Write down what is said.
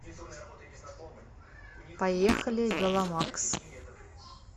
поехали веломакс